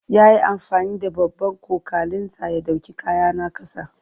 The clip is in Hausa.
Ya yi amfani da babban cokalinsa ya ɗauki kayana ƙasa.